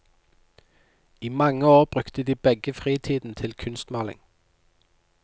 I mange år brukte de begge fritiden til kunstmaling.